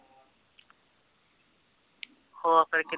ਹੋਰ ਫਿਰ ਕਿੱ